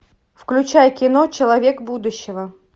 включай кино человек будущего